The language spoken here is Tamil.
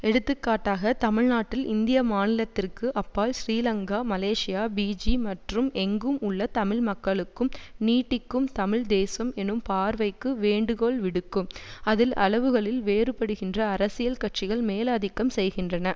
எடுத்துக்காட்டாக தமிழ்நாட்டில் இந்திய மாநிலத்திற்கு அப்பால் சிறிலங்கா மலேசியா பிஜி மற்றும் எங்கும் உள்ள தமிழ்மக்களுக்கும் நீட்டிக்கும் தமிழ் தேசம் எனும் பார்வைக்கு வேண்டுகோள் விடுக்கும் அதில் அளவுகளில் வேறுபடுகின்ற அரசியல் கட்சிகள் மேலாதிக்கம் செய்கின்றன